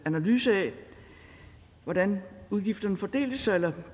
analyse af hvordan udgifterne fordelte sig eller